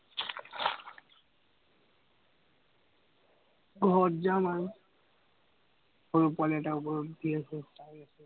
ঘৰত যাম আৰু। গৰু পোৱালি এটা